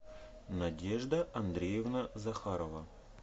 надежда андреевна захарова